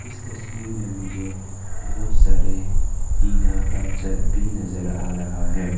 इस तस्वीर में मुझे बहुत सारे टीना का छत भी नजर आ रहा है।